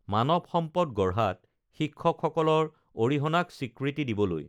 মানৱ সম্পদ গঢ়াত শিক্ষক সকলৰ অৰিহণাক স্বীকৃতি দিবলৈ